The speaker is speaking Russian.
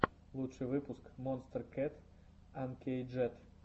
лучший выпуск монстер кэт анкейджед